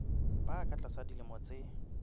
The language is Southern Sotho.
ba ka tlasa dilemo tse